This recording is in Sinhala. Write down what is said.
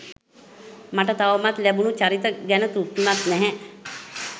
මට තවමත් ලැබුණු චරිත ගැන තෘප්තිමත් නැහැ.